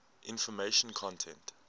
information content